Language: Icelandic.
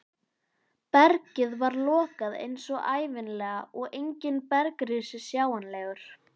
Bergið var lokað eins og ævinlega og enginn bergrisi sjáanlegur.